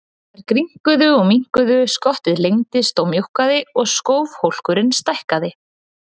Þær grynnkuðu og minnkuðu, skottið lengdist og mjókkaði og skúfhólkurinn stækkaði.